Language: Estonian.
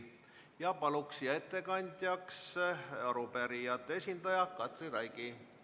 Palun siia arupärijate esindaja Katri Raigi.